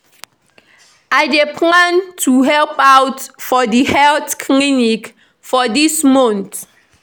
I dey plan to help out for di health clinic for dis month.